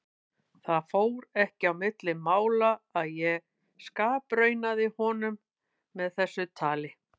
Það fór ekki á milli mála að ég skapraunaði honum með þessu tali.